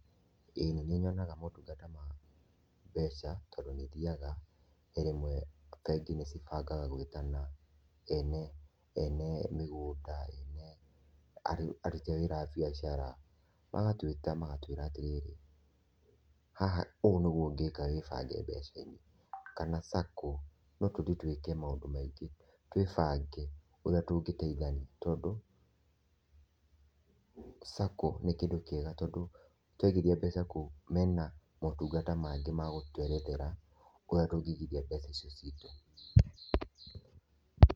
ĩ nĩ nyonaga motungata ma mbeca tondũ nĩ thiaga, he rĩmwe bengi nĩ cibangaga gũĩta ene ene mĩgũnda, ene aruti awĩra a biacara, magatwĩta magatwĩra atĩ rĩrĩ, haha ũguo nĩguo ũngĩĩka wĩbange mbeca-inĩ. Kana SACCO, no tũthiĩ tũĩke maũndũ maingĩ twĩbangĩ ũrĩa tũngĩteithania tondũ SACCO nĩ kĩndũ kĩega tondũ twaigithia mbeca kũu mena motungata mangĩ magũtũerethera ũrĩa tũngĩigitha mbeca icio citũ.